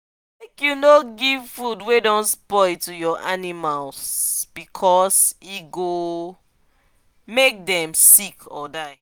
make u no give food wa don spoil to ur animals because e go make them sick or die